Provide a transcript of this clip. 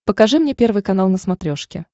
покажи мне первый канал на смотрешке